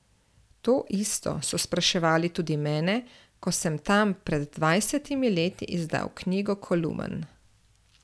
To isto so spraševali tudi mene, ko sem tam pred dvajsetimi leti izdal knjigo kolumen.